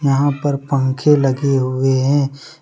यहां पर पंखे लगे हुए हैं।